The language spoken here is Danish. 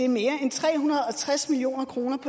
mere end tre hundrede og tres million kroner